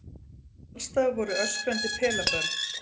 Alls staðar voru öskrandi pelabörn.